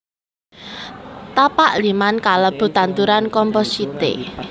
Tapak liman kalebu tanduran compositae